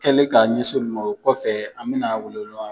Kɛlen k'a ɲɛsin olu ma o kɔfɛ an bɛna welewelema